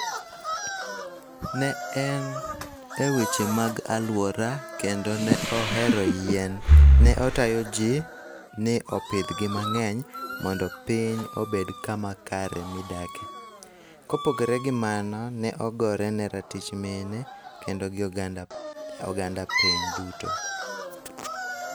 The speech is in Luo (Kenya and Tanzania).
Ne en e weche mag aluora kendo ne ohero yien. Ne otayo ji ni opidh gi mang'eny mondo piny obed kama kare midake. Kopogore gi mano ne ogorene ratich mine kendo gi oganda piny duto.